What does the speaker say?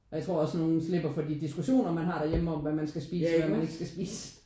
Og jeg tror også nogen slipper for de diskussioner man har derhjemme om hvad man skal spise og hvad man ikke skal spise